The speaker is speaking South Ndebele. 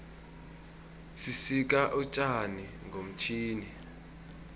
sisika utjani ngomtjhini